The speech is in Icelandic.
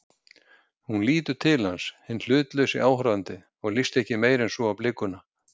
Hún lítur til hans, hinn hlutlausi áhorfandi, og líst ekki meira en svo á blikuna.